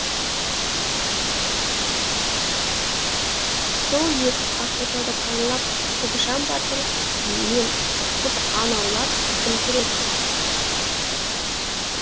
сол иесіз ақ отауды паналап көкжан батыр мен қыз аң аулап күн көреді